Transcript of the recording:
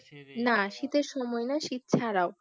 না শীতের সময় না শীত ছাড়াও